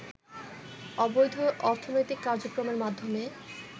অবৈধ অর্থনৈতিক কার্যক্রমের মাধ্যমে